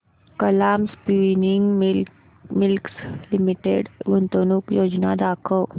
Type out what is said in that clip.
Kalam spinning mills limited गुंतवणूक योजना दाखव